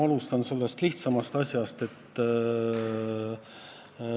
Alustan lihtsamast põhjusest.